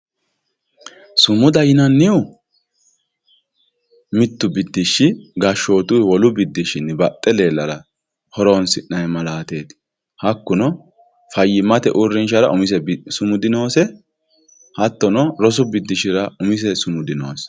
sumuda yinannihu mittu biddishshi gashshootuyiihu wolu biddishshinni baxxe leellara horoonsi'nayii malaateeti hakkuno fayyimmate uurrinshara umise sumudi noose hattono rosu biddishshira umise sumudi noose